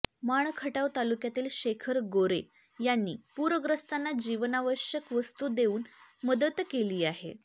माण खटाव तालुक्यातील शेखर गोरे यांनी पुरग्रस्तांना जीवनावश्यक वस्तू देऊन मदत केली आहे